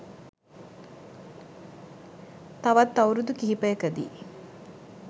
තවත් අවුරුදු කිහිපයකදී